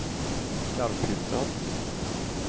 Garphyttan